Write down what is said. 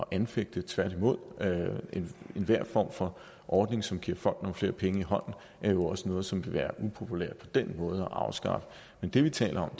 anfægte tværtimod enhver form for ordning som giver folk nogle flere penge i hånden er jo også noget som kan være upopulært på den måde at afskaffe men det vi taler